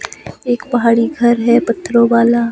एक पहाड़ी घर है पत्थरों वाला।